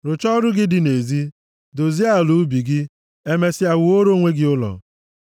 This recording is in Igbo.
Rụchaa ọrụ gị dị nʼezi. Dozie ala ubi gị. Emesịa wuoro onwe gị ụlọ.